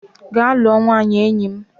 Gaa lụọ nwaanyị enyi m!